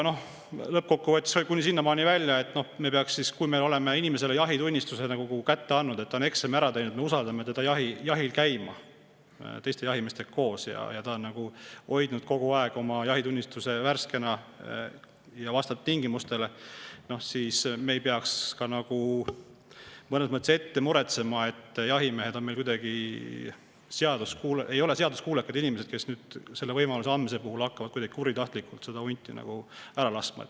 Noh, lõppkokkuvõttes, kui me oleme inimestele jahitunnistuse kätte andnud ehk nad on eksami ära teinud, me usaldame neid koos teiste jahimeestega jahil käima, kui nad on hoidnud kogu aeg oma jahitunnistuse värskena ja see vastab tingimustele, siis me ei peaks mõnes mõttes ette muretsema, et jahimehed ei ole meil seaduskuulekad inimesed, kes hakkavad nüüd selle võimaluse andmise puhul kuidagi kuritahtlikult hunti laskma.